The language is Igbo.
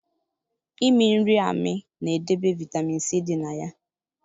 Imi nri amị na edebe vitamin c di na ya